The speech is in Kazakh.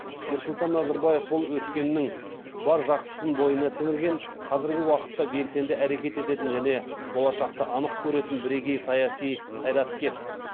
нұрсұлтан назарбаев бұл өткеннің бар жақсысын бойына сіңірген қазіргі уақытта белсенді әрекет ететін және болашақты анық көретін бірегей саяси қайраткер